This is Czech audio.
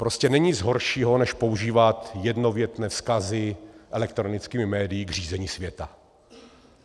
Prostě není nic horšího, než používat jednovětné vzkazy elektronickými médii k řízení světa.